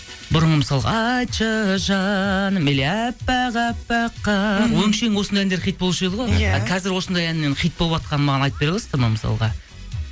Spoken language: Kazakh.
бұрын мысалға айтшы жаным или әппақ әппақ қар өңшең осындай әндер хит болуыш еді ғой иә а қазір осындай әнмен хит болыватқанын маған айтып бере аласыздар ма мысалға